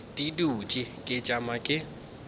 ke dutše ke tšama ke